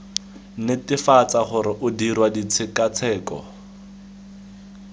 netefatsa gore o dirwa ditshekatsheko